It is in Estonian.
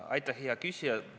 Aitäh, hea küsija!